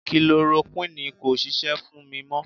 Kilorokuini kò ń ṣisẹ́ fún mi mọ.